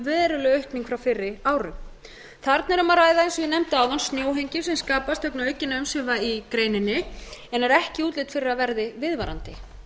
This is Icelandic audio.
veruleg aukning frá fyrri árum þarna er um að ræða eins og ég nefndi áðan snjóhengju sem skapast vegna aukinna umsvifa í greininni en er ekki útlit fyrir að verði viðvarandi